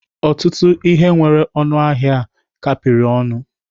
Ọtụtụ ihe nwere ọnụ ahịa a kapịrị ọnụ.